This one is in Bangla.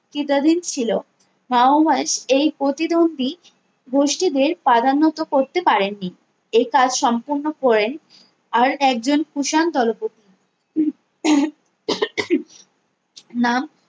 কি তাদের ছিলো মাওওয়াশ এই প্রতিদম্ভি গোষ্ঠীদের পদান্নভা করতে পারেননি এই কাজ সম্পূর্ণ করেন আর একজন কুষাণ দলপতি নাম